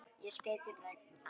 Hvernig ertu í kálfanum?